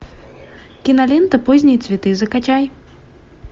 кинолента поздние цветы закачай